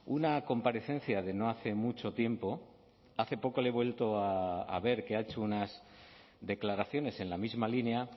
una comparecencia de no hace mucho tiempo hace poco le he vuelto a ver que ha hecho unas declaraciones en la misma línea